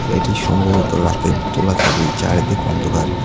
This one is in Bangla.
এটি সম্ভবত রাতের তোলা ছবি চারিদিকে অন্ধকার।